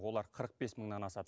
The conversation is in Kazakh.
олар қырық бес мыңнан асады